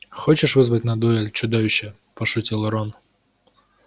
хочешь вызвать на дуэль чудовище пошутил рон